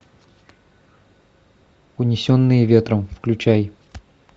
унесенные ветром включай